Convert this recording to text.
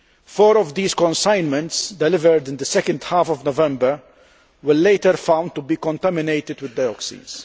Four of these consignments delivered in the second half of November were later found to be contaminated with dioxins.